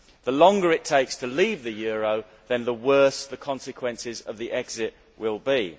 The longer it takes to leave the euro, the worse the consequences of the exit will be.